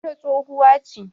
wata tsohuwa ce